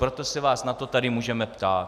Proto se vás na to tady můžeme ptát.